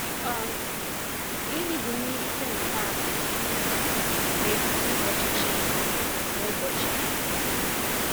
um Gịnị bụ myirịta nke anọ n'etiti ụbọchị Chima na ụbọchị anyị?